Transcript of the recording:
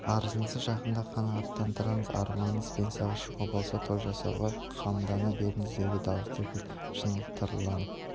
арызыңызды жақында қанағаттандырамыз арманыңыз пенсияға шығу болса той жасауға қамдана беріңіз деді дауысы кілт шыңылтырланып